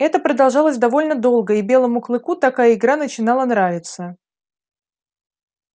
это продолжалось довольно долго и белому клыку такая игра начинала нравиться